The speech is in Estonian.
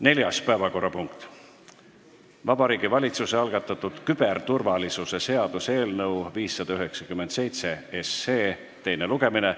Neljas päevakorrapunkt: Vabariigi Valitsuse algatatud küberturvalisuse seaduse eelnõu 597 teine lugemine.